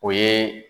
O ye